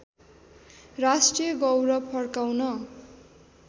राष्ट्रिय गौरव फर्काउन